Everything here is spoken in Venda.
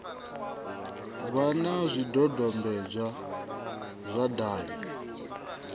vha na zwidodombedzwa zwa davhi